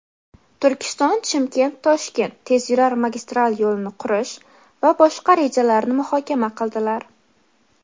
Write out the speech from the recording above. "Turkiston – Chimkent – Toshkent" tezyurar magistral yo‘lini qurish va boshqa rejalarni muhokama qildilar.